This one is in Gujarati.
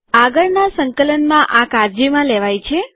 આગળના સંકલનમાં આ કાળજીમાં લેવાય છે